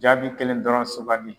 Jaabi kelen dɔrɔn sugandi.